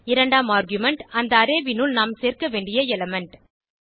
இரண்டாம் ஆர்குமென்ட் அந்த அரே னுள் நாம் சேர்க்க வேண்டிய எலிமெண்ட்